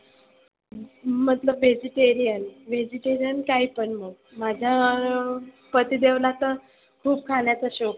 मतलब vegiterian, vegetarian काही पण मग. माझ पतीदेवला तर खुप खाण्याचा शोक आहे.